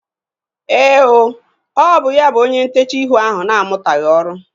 Éè ooo, ọ bụ ya bụ onye ntechaa ihu ahu na-amutaghi ọrụ